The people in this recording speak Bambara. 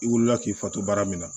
I wulila k'i fato baara min na